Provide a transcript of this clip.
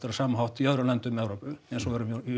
sama hætti í öðrum löndum Evrópu eins og við erum